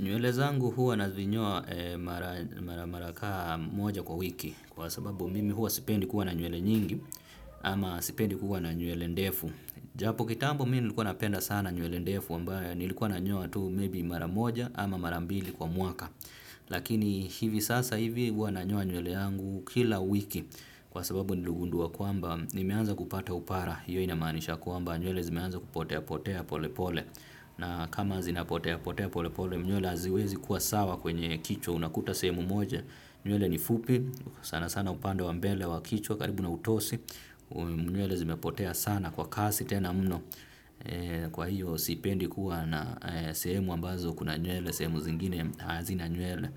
Nywele zangu huwa navinyoa mara, mara kaa moja kwa wiki kwa sababu mimi huwa sipendi kuwa na nywele nyingi ama sipendi kuwa na nywele ndefu. Japo kitambo mimi nilikuwa napenda sana nywele ndefu ambayo nilikuwa na nyoa tu maybe mara moja ama mara mbili kwa mwaka. Lakini hivi sasa hivi huwa nanyoa nywele yangu kila wiki kwa sababu niligundua kwamba nimeanza kupata upara. Hiyo inamanisha kwamba nywele zimeanza kupotea potea pole pole na kama zinapotea potea pole pole nywele haziwezi kuwa sawa kwenye kichwa unakuta sehemu moja nywele ni fupi sana sana upande wa mbele wa kichwa karibu na utosi nywele zimeapotea sana kwa kasi tena mno kwa hiyo sipendi kuwa na sehemu ambazo kuna nywele sehemu zingine hazina nywele